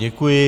Děkuji.